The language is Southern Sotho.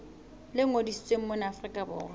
le ngodisitsweng mona afrika borwa